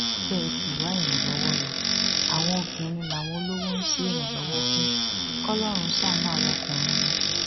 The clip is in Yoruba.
bẹ ẹ sì wá ìrànlọwọ lo àwọn obìnrin làwọn olówó ń ṣèrànlọwọ fún kọlọrun ṣàánú àwa ọkùnrin ni